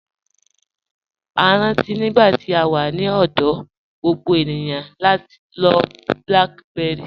A rántí nígbà tí à wà ní ọ̀dọ̀, gbogbo ènìyàn ń lọ̀ BlackBerry.